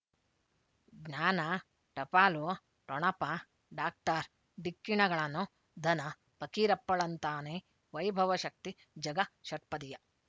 ಜ್ಞಾನ ಟಪಾಲು ಠೊಣಪ ಡಾಕ್ಟರ್ ಢಿಕ್ಕಿ ಣಗಳನು ಧನ ಪಕೀರಪ್ಪಳಂತಾನೆ ವೈಭವ ಶಕ್ತಿ ಝಗ ಷಟ್ಪದದೀಯ